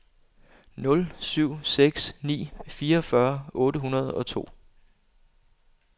nul syv seks ni fireogfyrre otte hundrede og to